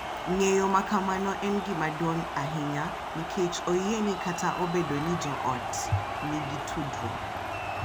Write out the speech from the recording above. Ng’eyo ma kamano en gima duong’ ahinya nikech oyie ni kata obedo ni jo ot nigi tudruok,